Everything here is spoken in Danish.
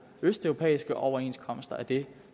østeuropæiske overenskomster er det